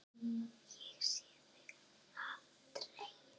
Ég sé þig aldrei.